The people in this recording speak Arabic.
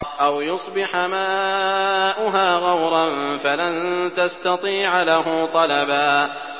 أَوْ يُصْبِحَ مَاؤُهَا غَوْرًا فَلَن تَسْتَطِيعَ لَهُ طَلَبًا